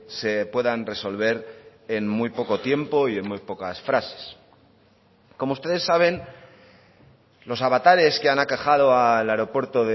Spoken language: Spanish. se puedan resolver en muy poco tiempo y en muy pocas frases como ustedes saben los avatares que han aquejado al aeropuerto